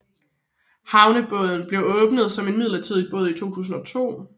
Havnebadet blev åbnet som et midlertidig bad i 2002